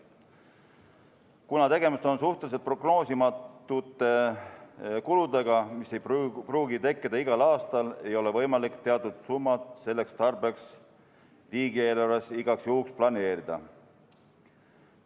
Kuna tegemist on suhteliselt prognoosimatute kuludega, mis ei pruugi tekkida igal aastal, ei ole võimalik teatud summat selleks tarbeks riigieelarves igaks juhuks planeerida.